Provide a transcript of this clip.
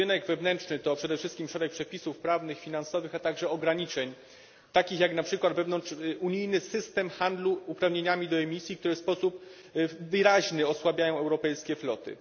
Rynek wewnętrzny to przede wszystkim szereg przepisów prawnych, finansowych, a także ograniczeń, takich jak na przykład wewnątrzunijny system handlu uprawnieniami do emisji, które w wyraźny sposób osłabiają europejskie floty.